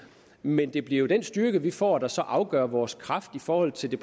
men det bliver jo den styrke vi får der så afgør vores kraft i forhold til det